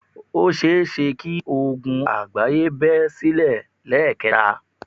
Ó seése kí ogun àgbáyé bẹ́ silẹ̀ lẹ́ẹ̀kẹta